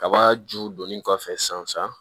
Kaba ju donni kɔfɛ san san